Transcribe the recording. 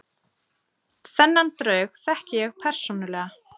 Þennan draug þekki ég persónulega.